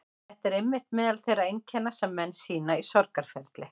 Þetta eru einmitt meðal þeirra einkenna sem menn sýna í sorgarferli.